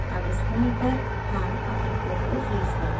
अब इस point पर हम अपने code को freeze करते हैं